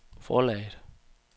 forlaget